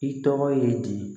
I tɔgɔ ye di